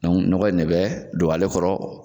nɔgɔ in de bɛ don ale kɔrɔ.